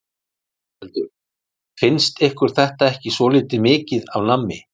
Ingveldur: Finnst ykkur þetta ekki svolítið mikið af nammi?